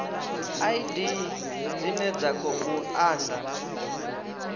id dzine dza khou anda